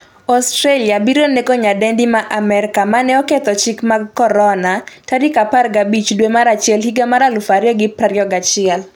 Australia biro nego nyadendi ma Amerka manoketho chike mag Corona' 15 dwe mar achiel 2021